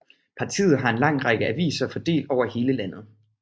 Partiet har en lang række aviser fordelt over hele landet